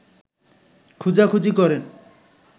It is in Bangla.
খুঁজাখুজি করেন